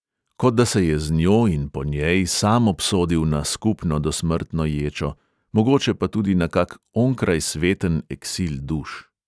Kot da se je z njo in po njej sam obsodil na skupno dosmrtno ječo, mogoče pa tudi na kak onkrajsveten eksil duš.